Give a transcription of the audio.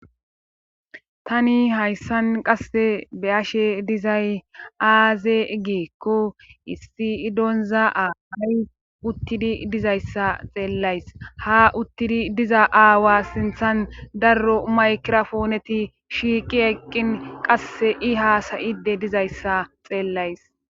Tani hayssan qasse beyashe dizay aaze geekko issi idoonza'aaay uttidi dizayssa xeellays ha uttidi diza aawa sinthan darro maykirofooneti shiiqi eqqin qasse i haasayide dizayssa xeellays